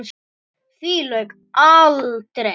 Því lauk aldrei.